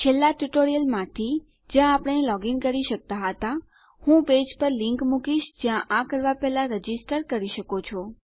છેલ્લા ટ્યુટોરીયલમાંથી જ્યાં આપણે લોગીન કરી શકતા હતા હું પેજ પર લીંક મુકીશ જ્યાં આ કરવા પહેલા રજીસ્ટર કરી શકો છો